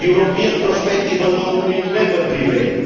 A European perspective alone will never prevail.